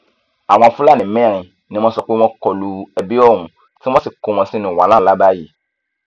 àwọn fúlàní mẹrin ni wọn sọ pé wọn kọlu ebi ohun tí wọn sì kó wọn sínú wàhálà ńlá báyìí